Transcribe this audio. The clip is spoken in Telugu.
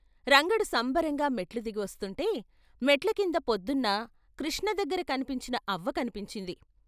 రంగడు సంబరంగా మెట్లుదిగి వస్తుంటే మెట్ల కింద పొద్దున్న కృష్ణ దగ్గర కన్పించిన అవ్వ కనిపించింది.